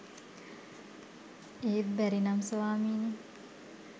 ඒත් බැරි නම් ස්වාමීනී